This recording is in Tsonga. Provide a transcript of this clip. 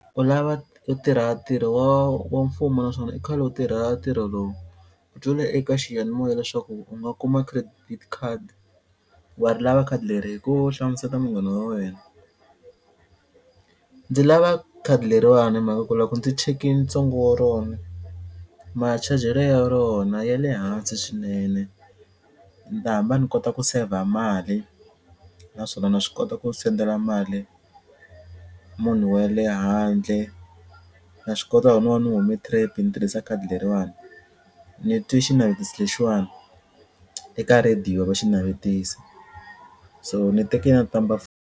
U lava u tirha ntirho wa wa mfumo naswona i khale u tirha ntirho lowu. U twile eka xiyanimoya leswaku u nga kuma credit card wa ri lava khadi leri hi ku hlamuseta munghana wa wena. Ndzi lava khadi leriwani hi mhaka ku loko ndzi chekini ntsengo wa rona ma-charge-lo ya rona ya le hansi swinene ni ta hamba ni kota ku saver mali naswona na swi kota ku sendela mali munhu wa le handle na swi kota ku no va ni hume trip ni tirhisa khadi leriwani ni twe xinavetiso lexiwani eka rhadiyo va xi navetiso so ni teke na ti-number .